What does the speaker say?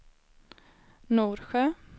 Norsjö